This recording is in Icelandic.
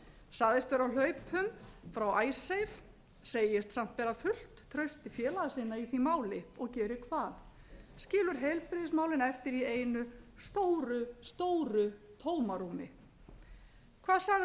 sagðist vera á hlaupum frá icesave sagðist samt bera fullt traust til félaga sinna í því máli og gerir það skilur heilbrigðismálin eftir í einu stóru tómarúmi hvað sagði fyrrum